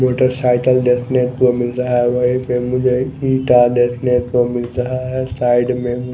Motorcycle देखने को मिलता है वहीं पे मुझे ईंटा देखने को मिलता है साइड में।